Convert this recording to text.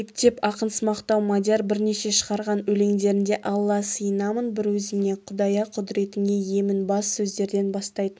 ептеп ақынсымақтау мадияр бірнеше шығарған өлеңдерінде алла сыйынамын бір өзіңе құдая құдіретіңе иемін бас сөздерден бастайтын